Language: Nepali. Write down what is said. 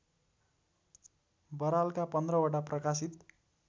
बरालका पन्ध्रवटा प्रकाशित